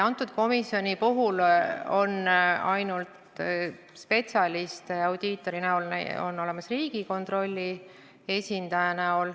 Konkreetses komisjonis on spetsialist ainult audiitor, kes esindab Riigikontrolli.